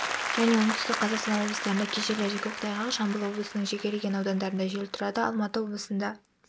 және оңтүстік қазақстан облыстарында кей жерлерде көктайғақ жамбыл облысының жекелеген аудандарында жел тұрады алматы облысында